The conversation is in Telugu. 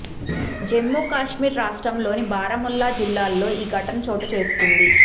జమ్ము కశ్మీర్ రాష్ట్రంలోని బారాముల్లా జిల్లాలో ఈ ఘటన చోటు చేసుకుంది